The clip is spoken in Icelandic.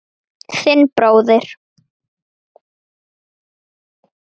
Þinn bróðir